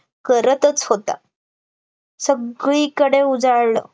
करतच होता सगळीकडे उजाळलं